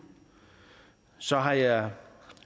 så har jeg